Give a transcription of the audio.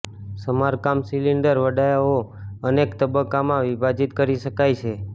સમારકામ સિલિન્ડર વડાઓ અનેક તબક્કામાં વિભાજિત કરી શકાય છે